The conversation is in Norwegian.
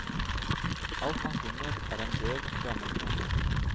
Alt han finner er en døv, gammel kone.